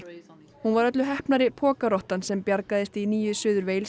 hún var öllu heppnari sem bjargaðist í nýju Suður